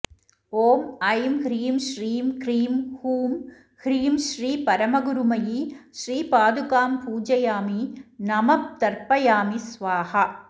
ॐ ऐं ह्रीं श्रीं क्रीं हूं ह्रीं श्री परमगुरुमयी श्रीपादुकां पूजयामि नमः तर्पयामि स्वाहा